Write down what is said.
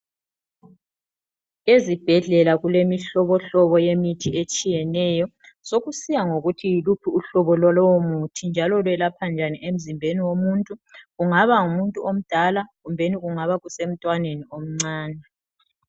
ezibhedlela kulemihlobohlobo yemithi etshiyeneyo sokusiya ngokuthi yiluphi uhlobo lolowomuthi njalo lwelapha njani emzimbeni womuntu kungaba ngumuntu omdala kumbeni kungaba kuse mntwaneni omncane